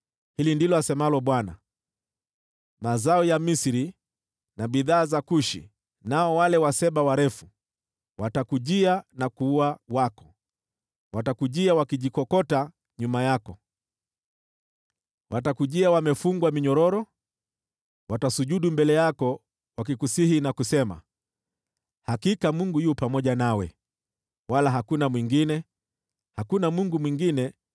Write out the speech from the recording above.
Hili ndilo asemalo Bwana : “Mazao ya Misri na bidhaa za Kushi, nao wale Waseba warefu, watakujia na kuwa wako, watakujia wakijikokota nyuma yako, watakujia wamefungwa minyororo. Watasujudu mbele yako wakikusihi na kusema, ‘Hakika Mungu yu pamoja nawe, wala hakuna mwingine; hakuna Mungu mwingine.’ ”